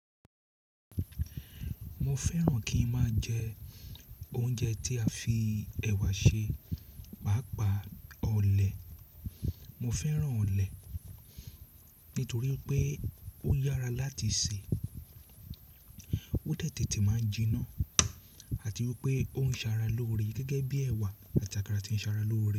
Mo fẹ́ràn kí ń máa jẹ oúnjẹ tí a fi ẹ̀wà ṣe, pàápàá ọlẹ̀. Mo fẹ́ràn ọlẹ̀ nítorí pé ó yára láti sè, ó de tètè máa jiná àti wípé ó ń ṣàrà l'óre gẹ́gẹ́ bí ẹ̀wà àti àkàrà tí ń ṣàrà lórí.